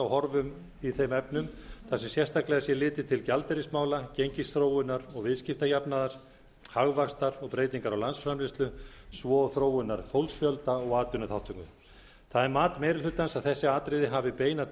horfum í þeim efnum þar sem sérstaklega sé litið til gjaldeyrismála gengisþróunar og viðskiptajafnaðar hagvaxtar og breytinga á landsframleiðslu svo og þróunar fólksfjölda og atvinnuþátttöku það er mat meiri hlutans að þessi atriði hafi beina